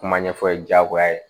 Kuma ɲɛfɔ jagoya ye